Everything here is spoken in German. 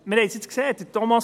Wir haben es jetzt gesehen.